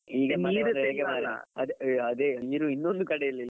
ಅದೇ ಅ ನೀರು ಇದೊಂದು ಕಡೆಯಲ್ಲಿ.